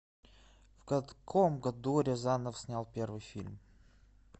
в каком году рязанов снял первый фильм